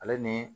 Ale ni